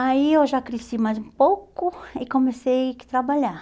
Aí eu já cresci mais um pouco e comecei a trabalhar.